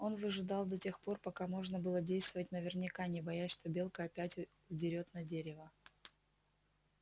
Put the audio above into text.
он выжидал до тех пор пока можно было действовать наверняка не боясь что белка опять удерёт на дерево